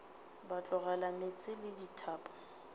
ba tlogela meetse le dithapo